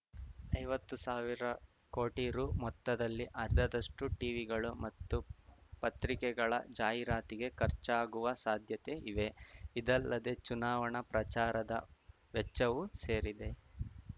ಐವತ್ತು ಸಾವಿರ ಕೋಟಿ ರೂ ಮೊತ್ತದಲ್ಲಿ ಅರ್ಧದಷ್ಟು ಟಿವಿಗಳು ಮತ್ತು ಪತ್ರಿಕೆಗಳ ಜಾಹೀರಾತಿಗೆ ಖರ್ಚಾಗುವ ಸಾಧ್ಯತೆ ಇವೆ ಇದಲ್ಲದೆ ಚುನಾವಣಾ ಪ್ರಚಾರದ ವೆಚ್ಚವೂ ಸೇರಿದೆ